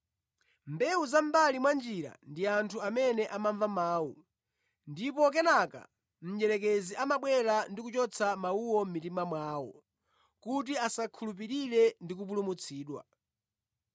Mbewu za mʼmbali mwa njira ndi anthu amene amamva mawu, ndipo kenaka mdierekezi amabwera ndi kuchotsa mawuwo mʼmitima mwawo kuti asakhulupirire ndi kupulumutsidwa.